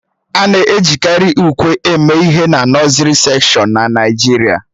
A na-ejikarị ùkwè eme ihe na nọsiri sekshọn na Naịjirịa